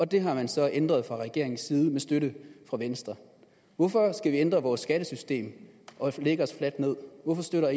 det har man så ændret fra regeringens side med støtte fra venstre hvorfor skal vi ændre vores skattesystem og lægge os fladt ned hvorfor støtter